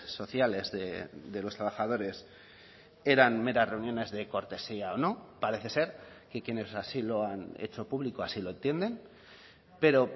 sociales de los trabajadores eran meras reuniones de cortesía o no parece ser que quienes así lo han hecho público así lo entienden pero